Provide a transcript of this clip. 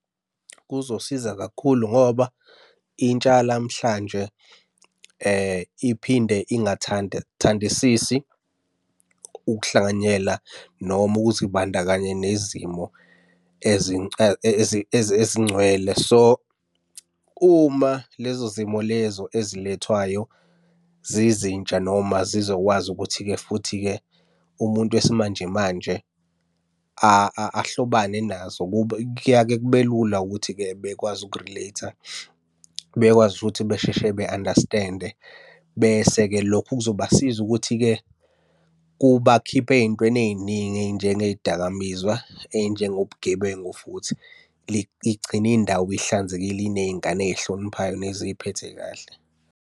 Kuzosiza kakhulu ngoba intsha yanamhlanje iphinde ingathanda thandisisi ukuhlanganyela noma ukuzibandakanya nezimo ezingcwele. So, uma lezo zimo lezo ezilethwayo zizintsha, noma zizokwazi ukuthi-ke futhi-ke, umuntu wesimanjemanje ahlobane nazo, kuya-ke kube lula ukuthi-ke bekwazi uku-relate-a. Bekwazi futhi besheshe be-understand-e bese-ke lokhu kuzobasiza ukuthi-ke kubakhiphe ey'ntweni ey'ningi ey'njengey'dakamizwa, ey'njengobugebengu futhi. Igcine indawo ihlanzekile iney'ngane ey'hloniphayo neziphethe kahle.